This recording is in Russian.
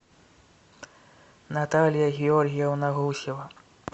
наталья георгиевна гусева